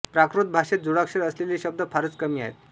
प्राकृत भाषेत जोडाक्षर असलेले शब्द फारच कमी आहेत